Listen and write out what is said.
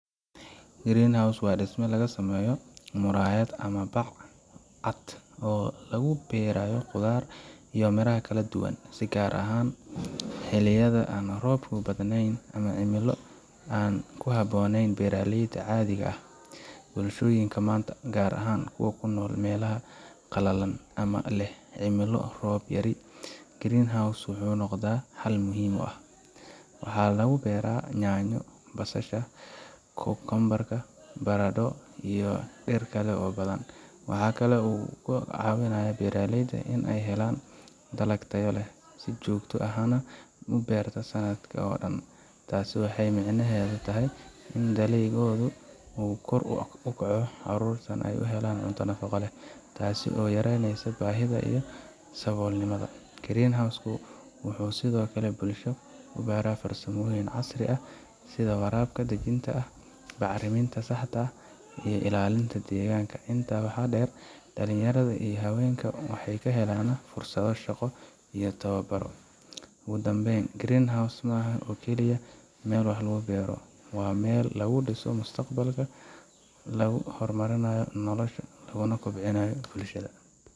Greenhouse waa dhisme laga sameeyo muraayad ama bac cad oo lagu beero khudaar iyo miraha kala duwan, si gaar ah xilliyada aan roobku badnayn ama cimilo aan ku habboonayn beeraleyda caadiga ah. Bulshooyinka maanta, gaar ahaan kuwa ku nool meelaha qalalan ama leh cimilo roob yari ah, Greenhouse wuxuu noqday xal muhiim ah. Waxaa lagu beeraa yaanyo, basasha, kookoombar, baradho, iyo dhir kale oo badan. Waxaa kale oo uu ka caawiyaa beeraleyda in ay helaan dalag tayo leh, si joogto ahna u beertaan sanadka oo dhan. Taasi waxay micnaheedu tahay in dakhligooda uu kor u kaco, caruurtana ay helaan cunto nafaqo leh, taasoo yareyneysa baahida iyo saboolnimada. Greenhouse ka wuxuu sidoo kale bulshada ku baraa farsamooyin casri ah sida waraabka dhijitaalka ah, bacriminta saxda ah, iyo ilaalinta deegaanka. Intaa waxaa dheer, dhalinyarada iyo haweenka waxay ka helaan fursado shaqo iyo tababar. Ugu dambeyn, greenhouse ma aha oo kaliya meel wax lagu beero waa meel lagu dhiso mustaqbal, lagu horumarinayo nolosha, laguna kobciyo bulshada.